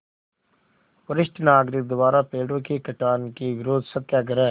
वरिष्ठ नागरिक द्वारा पेड़ों के कटान के विरूद्ध सत्याग्रह